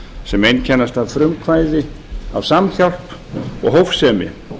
sem einkennast af frumkvæði af samhjálp og hófsemi